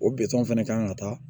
O fɛnɛ kan ka taa